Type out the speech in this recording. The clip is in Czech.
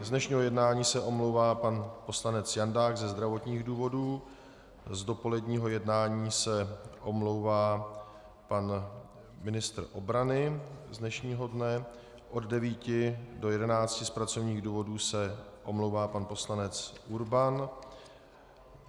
Z dnešního jednání se omlouvá pan poslanec Jandák ze zdravotních důvodů, z dopoledního jednání se omlouvá pan ministr obrany z dnešního dne, od 9 do 11 z pracovních důvodů se omlouvá pan poslanec Urban.